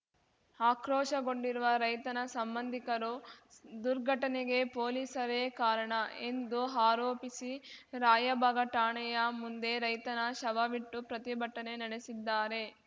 ಆಕ್ರೋಶಗೊಂಡಿರುವ ರೈತನ ಸಂಬಂಧಿಕರು ದುರ್ಘಟನೆಗೆ ಪೊಲೀಸರೇ ಕಾರಣ ಎಂದು ಆರೋಪಿಸಿ ರಾಯಭಾಗ ಠಾಣೆಯ ಮುಂದೆ ರೈತನ ಶವವಿಟ್ಟು ಪ್ರತಿಭಟನೆ ನಡೆಸಿದ್ದಾರೆ